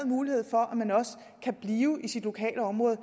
mulighed for at man også kan blive i sit lokale område og